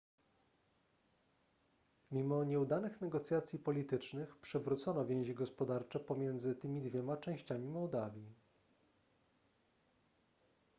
mimo nieudanych negocjacji politycznych przywrócono więzi gospodarcze pomiędzy tymi dwiema częściami mołdawii